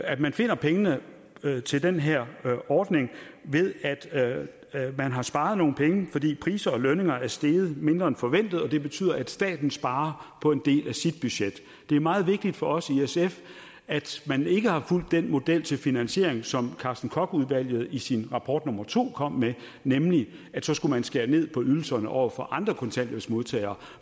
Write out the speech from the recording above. at man finder pengene til den her ordning ved at man har sparet nogle penge fordi priser og lønninger er steget mindre end forventet og det betyder at staten sparer på en del af sit budget det er meget vigtigt for os i sf at man ikke har fulgt den model til finansiering som carsten koch udvalget i sin rapport nummer to kom med nemlig at så skulle man skære ned på ydelserne over for andre kontanthjælpsmodtagere